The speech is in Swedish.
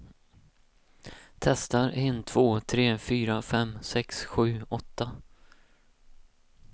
Testar en två tre fyra fem sex sju åtta.